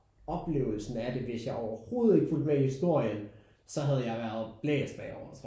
Oplevelsen af det hvis jeg overhovedet ikke fulgte med i historien så havde jeg været blæst bagover tror jeg